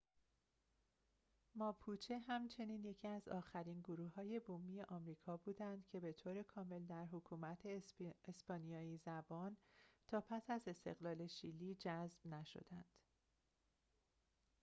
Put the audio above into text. ماپوچه همچنین یکی از آخرین گروه‌های بومی آمریکا بودند که بطور کامل در حکومت اسپانیایی‌زبان تا پس از استقلال شیلی جذب نشدند